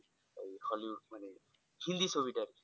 hollywood মানে হিন্দী ছবি টা আর কি,